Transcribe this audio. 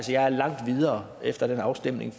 jeg er langt videre efter den afstemning